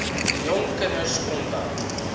jong kinders omdat